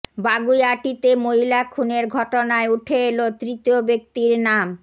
বাগুইআটিতে মহিলা খুনের ঘটনায় উঠে এল তৃতীয় ব্যক্তির নাম